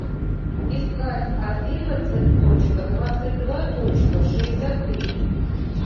искать одиннадцать точка двадцать два точка шестьдесят три